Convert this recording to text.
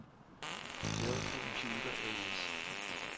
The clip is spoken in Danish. Dell Computer A/S